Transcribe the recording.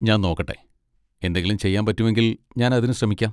ഞാൻ നോക്കട്ടെ, എന്തെങ്കിലും ചെയ്യാൻ പറ്റുമെങ്കിൽ ഞാൻ അതിന് ശ്രമിക്കാം.